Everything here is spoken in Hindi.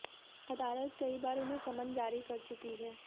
अदालत कई बार उन्हें समन जारी कर चुकी है